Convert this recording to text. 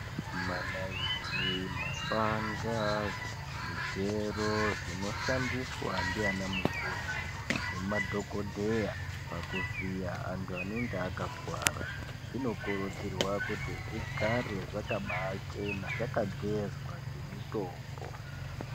Manaiti , mapanga , zvigero zvinoshandiswa ndi ana mukoti nemadhokodheya pakuvhiya antu anenge akakuwara zvinokurudzirwa kuti gare zvakabachena zvakagezwa ngemutombo.